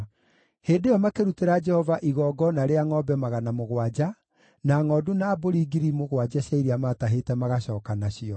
Hĩndĩ ĩyo makĩrutĩra Jehova igongona rĩa ngʼombe 700, na ngʼondu na mbũri 7,000 cia iria maatahĩte magacooka nacio.